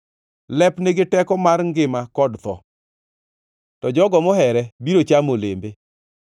Lep nigi teko mar ngima kod tho, to jogo mohere biro chamo olembe.